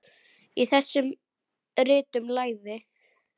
Í þessum ritum lagði